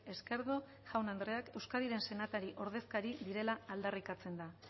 esquerdo jaun andreak euskadiren senatari ordezkari direla aldarrikatzen da